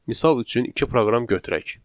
Misal üçün iki proqram götürək.